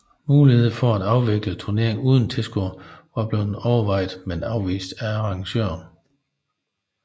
Muligheden for at afvikle turneringen uden tilskuere var blevet overvejet men afvist af arrangørerne